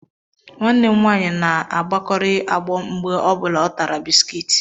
nwanne m nwaanyị na-àgbọkari ágbọ mgbe ọ bụla o tara bisikiiti